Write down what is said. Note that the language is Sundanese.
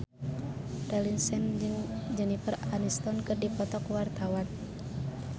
Raline Shah jeung Jennifer Aniston keur dipoto ku wartawan